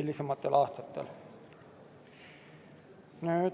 hilisematel aastatel muudetud.